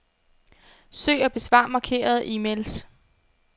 Søg og besvar markerede e-mails.